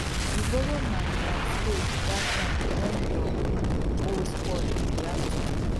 you borrow my my spade that time wen your um hoe spoil in the afternoon